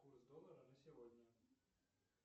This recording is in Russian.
курс доллара на сегодня